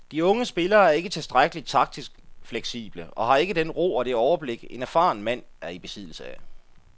De unge spillere er ikke tilstrækkeligt taktisk fleksible og har ikke den ro og det overblik, en erfaren mand er i besiddelse af.